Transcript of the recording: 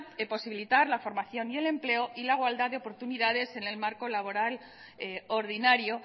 posibilitar la formación y el empleo y la igualdad de oportunidades en el marco laboral ordinario